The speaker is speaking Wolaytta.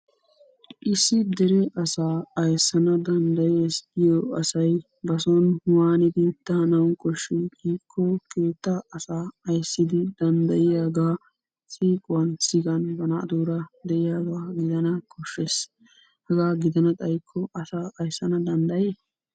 Issi dere asaa ayssana danddayees giyo asay baso waanidi daanawu koshshii keehi keettaa asaa aysidi danddayiyaagaa siiquwan sigan ba naatuura de'iyaba gidana koshshees, hegaa gidana xaykko asaa aysana danddayii?